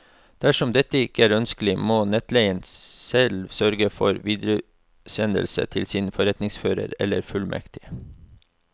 Dersom dette ikke er ønskelig, må netteier selv sørge for videresendelse til sin forretningsfører eller fullmektig.